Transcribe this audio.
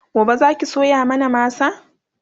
gobe Zaki soya mana masa?